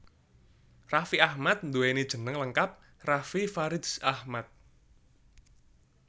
Raffi Ahmad nduwéni jeneng lengkap Raffi Faridz Ahmad